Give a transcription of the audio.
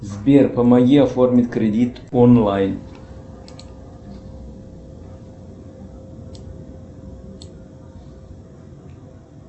сбер помоги оформить кредит онлайн